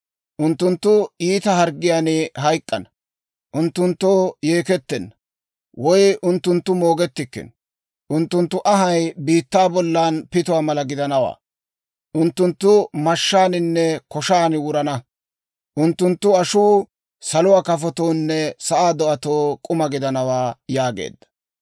Unttunttu iita harggiyaan hayk'k'ana; unttunttoo yeekettenna, woy unttunttu moogettikkino; unttunttu anhay biittaa bollan pituwaa mala gidanawaa. Unttunttu mashshaaninne koshan wurana; unttunttu ashuu saluwaa kafotoonne sa'aa do'atoo k'uma gidanawaa» yaageedda.